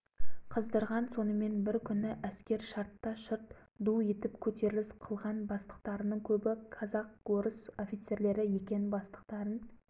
қыздырған сонымен бір күні әскер шартта-шұрт ду етіп көтеріліс қылған бастықтарының көбі казак-орыс офицерлері екен бастықтарын